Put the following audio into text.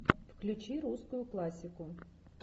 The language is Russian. включи русскую классику